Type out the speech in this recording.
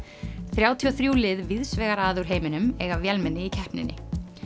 þrjátíu og þrjú lið víðsvegar að úr heiminum eiga vélmenni í keppninni